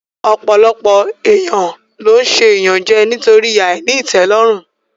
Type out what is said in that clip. Ọ̀pọ̀ èèyàn ló n ṣe ìyànjẹ nítorí àìní ìtẹ́lọ́rùn